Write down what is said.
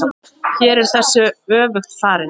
Hér er þessu öfugt farið.